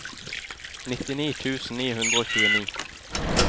nittini tusen ni hundre og tjueni